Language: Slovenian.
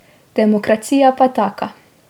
Demokracija pa taka.